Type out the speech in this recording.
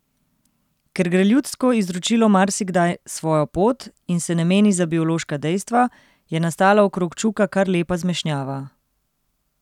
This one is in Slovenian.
Ker gre ljudsko izročilo marsikdaj svojo pot in se ne meni za biološka dejstva, je nastala okrog čuka kar lepa zmešnjava.